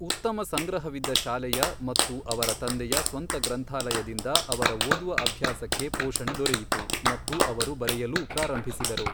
ಉತ್ತಮ ಸಂಗ್ರಹವಿದ್ದ ಶಾಲೆಯ ಮತ್ತು ಅವರ ತಂದೆಯ ಸ್ವಂತ ಗ್ರಂಥಾಲಯದಿಂದ ಅವರ ಓದುವ ಅಭ್ಯಾಸಕ್ಕೆ ಪೋಷಣೆ ದೊರೆಯಿತು ಮತ್ತು ಅವರು ಬರೆಯಲೂ ಪ್ರಾರಂಭಿಸಿದರು.